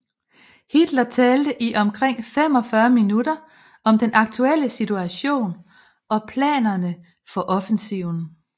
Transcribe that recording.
Hitler talte i omkring 45 minutter om den aktuelle situation og planerne for offensiven